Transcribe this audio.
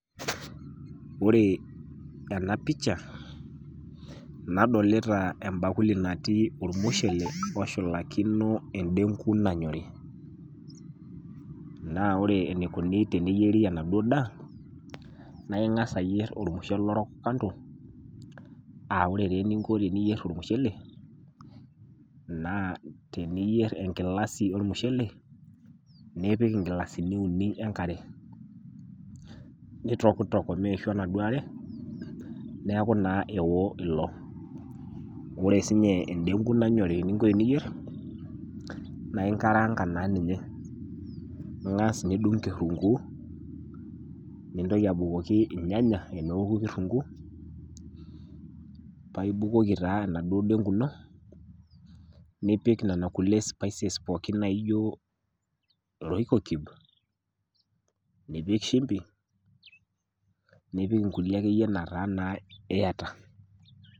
Wore ena pisha, nadolita embakuli natii ormushele oshulakino endengu nanyori. Naa wore enikuni teneyieri enaduo daa, naa ingas ayierr ormushele orok kando, aa wore taa eninko teniyierr ormushele, naa teniyierr enkilasi ormushele, nipik inkilasini uni enkare. Nitokitok omeishu enaduo are, neeku naa ewo ilo. Wore sinye endengu nanyori eninko teniyierr, naa inkaraanka naa ninye, ingas nidung kirrunguu, nintoki abukoki ilnyanya teneoku kirrunguu, paa ibukoki taa enaduo dengu ino, nipik niana kulie spices pookin naijo royco cube ,nipik shumbi, nipik inkulie akeyie nataa naa iyata.